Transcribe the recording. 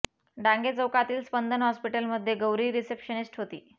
डांगे चौकातील स्पंदन हॅास्पिटल मध्ये गौरी रिसेप्शनिस्ट होती